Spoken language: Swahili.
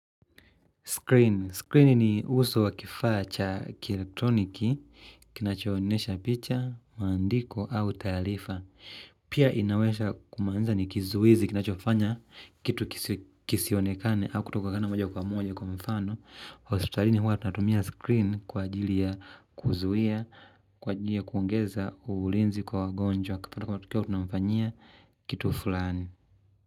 Screen. Screen ni uso wa kifaa cha kielektroniki, kinachoonyesha picha, maandiko au taarifa. Pia inaweza kumanisha ni kizuizi kinachokifanya kitu kisionekane au kutoka kana moja kwa moja kwa mfano. Hospitalini huwa tunatumia screen kwa ajili ya kuzuia, kwa ajili ya kuongeza ulinzi kwa wagonjwa. Kwa tunawafanyia kitu fulani.